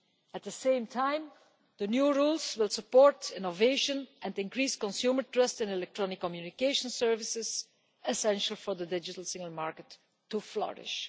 At the same time, the new rules will support innovation and increase consumer trust in electronic communication services essential for the digital single market to flourish.